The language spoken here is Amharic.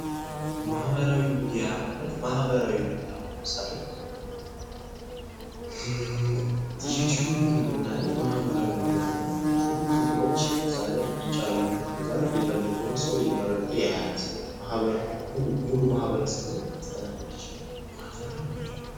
ምህበራዊ ሚዲያ ማለት ዩቱዩብን ብናይ ምህበራዊ ሚዲያ ነው ብዙ እንትኖች እዛ ጋ ይጫናሉ ሰወች እዛ ላይ የፈለጉትን መርጠው ያያሉ። ስለዚህ ምህበራዊ ሚዲያ ሙሉ ማህበረሰቡን ምስተናገድ ይችላል ።